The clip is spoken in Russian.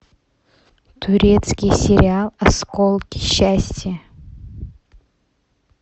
турецкий сериал осколки счастья